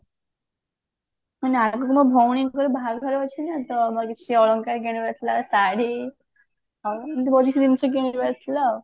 ମାନେ ଆଗକୁ ମୋ ଭଉଣୀଙ୍କର ବାହାଘର ଅଛି ନା ତ ଆମର କିଛି ଅଳଙ୍କାର କିଣିବାର ଥିଲା ଶାଢୀ ଏମିତି ବହୁତ କିଛି ଜିନିଷ କିଣିବାର ଥିଲା ଆଉ